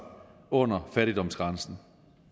under fattigdomsgrænsen